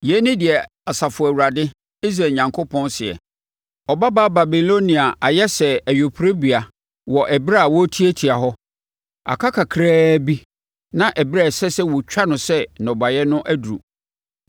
Yei ne deɛ Asafo Awurade, Israel Onyankopɔn, seɛ: “Ɔbabaa Babilonia ayɛ sɛ ayuporobea wɔ ɛberɛ a wɔretiatia hɔ. Aka kakraa bi, na ɛberɛ a ɛsɛ sɛ wɔtwa no sɛ nnɔbaeɛ no aduru.”